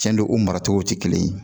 Cɛn do o mara cogo tɛ kelen ye